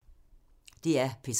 DR P3